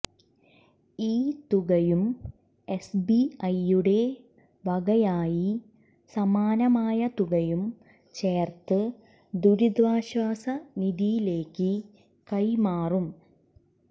ഈ തുകയും എസ്ബിഐയുടെ വകയായി സമാനമായ തുകയും ചേർത്ത് ദുരിതാശ്വാസ നിധിയിലേക്കു കൈമാറും